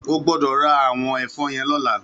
Ó gbòdò rá àwòn èfòn yèn lòlá